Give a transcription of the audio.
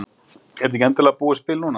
En er þetta ekki endanlega búið spil núna?